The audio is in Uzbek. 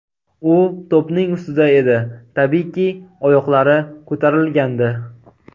U to‘pning ustida edi, tabiiyki, oyoqlari ko‘tarilgandi.